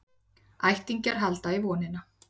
Ættingjar halda í vonina